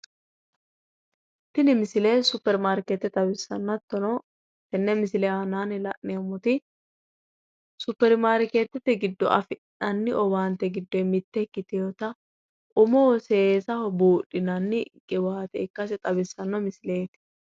Tini misile superimaarkeete xawissanno hattono tenne misile aanaanni la'neemmoti superimaarkeete giddo afi'nanni owaante giddyi mitte ikkitewoota umoho seesaho buudhinanni qiwaate ikkase xawissanno.